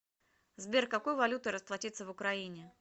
сбер какой валютой расплатиться в украине